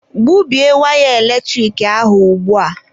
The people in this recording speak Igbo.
Gbubie waya eletrik ahụ ugbua!